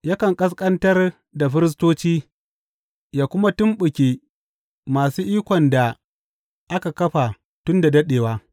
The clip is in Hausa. Yakan ƙasƙantar da firistoci yă kuma tumɓuke masu ikon da aka kafa tun da daɗewa.